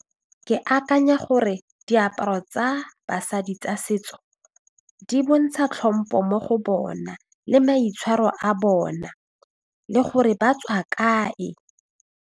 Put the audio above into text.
Ke akanya gore diaparo tsa basadi tsa setso di bontsha tlhompho mo go bona le maitshwaro a bona le gore ba tswa kae.